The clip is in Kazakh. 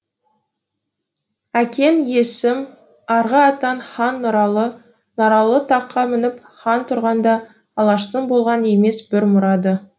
әкең есім арғы атаң хан нұралы нұралы таққа мініп хан тұрғанда алаштың болған емес бір мұрады